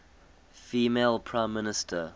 female prime minister